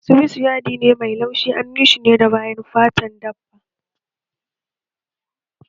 Sued yadi ne mai laushi kuma anyi shi ne da bayan fatan dabba